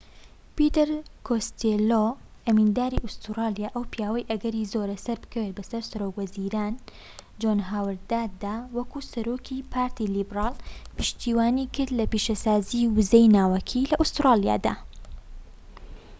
پیتەر کۆستێلۆ ئەمینداری ئوستورلیا و ئەو پیاوەی ئەگەری زۆرە سەربکەوێت بەسەر سەرۆک وەزیران جۆن هاوەرددا وەکو سەرۆکی پارتی لیبرال پشتیوانیکرد لە پیشەسازیی وزەی ناوەکی لە ئوستوڕالیادا